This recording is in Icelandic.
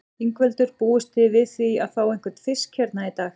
Ingveldur: Búist þið við því að fá einhvern fisk hérna í dag?